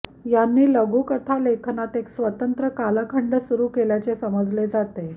यांनी लघुकथा लेखनात एक स्वतंत्र कालखंड सुरू केल्याचे समजले जाते